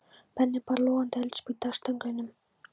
Benni bar logandi eldspýtu að stönglinum.